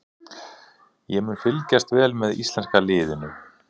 Ég mun fylgjast vel með íslenska liðinu.